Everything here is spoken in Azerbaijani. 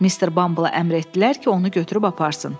Mr. Bumble əmr etdilər ki, onu götürüb aparsın.